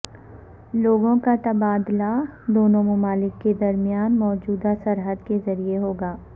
لوگوں کا تبادلہ دونوں ممالک کے درمیان موجود سرحد کے ذریعے ہو گا